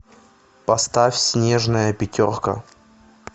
поставь снежная пятерка